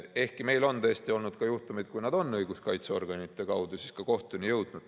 Ehkki meil on tõesti olnud ka juhtumeid, kui nad on õiguskaitseorganite kaudu siiski kohtuni jõudnud.